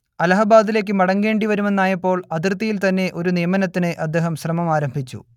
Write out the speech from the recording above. അലഹബാദിലേക്ക് മടങ്ങേണ്ടി വരുമെന്നായപ്പോൾ അതിർത്തിയിൽത്തന്നെ ഒരു നിയമനത്തിന് അദ്ദേഹം ശ്രമമാരംഭിച്ചു